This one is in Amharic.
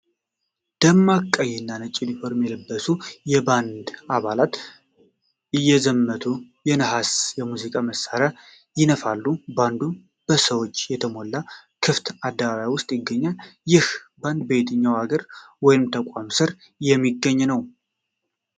ደማቅ ቀይና ነጭ ዩኒፎርም የለበሱ የባንድ አባላት እየዘመቱ የነሐስ የሙዚቃ መሣሪያዎችን ይነፋሉ። ባንዱ በሰዎች በተሞላ ክፍት አደባባይውስጥ ይገኛል። ይህ ባንድ በየትኛው አገር ወይም ተቋም ስር የሚገኝ ነው?